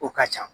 O ka ca